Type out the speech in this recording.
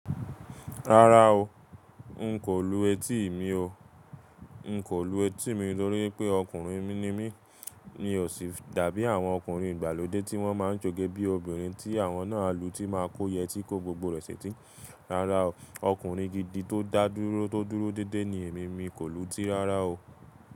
Rárá o, n kò lù etí mi o. N kò lù etí mi torí pé ọkùnrin ni mí, mí ó sì dàbí àwọn ọkùnrin ìgbàlódé tí wọ́n máa ń s'oge bí obìnrin tí àwọn náà à lù tí máa kó yẹtí kó gbogbo rẹ̀ ṣeti. Rárá o, ọkùnrin gidi tó dá dúró tó dúró dédé ni èmi mi kò lùtí rárá o.